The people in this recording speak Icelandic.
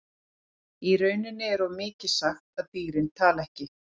Í rauninni er of mikið sagt að dýrin tali ekki.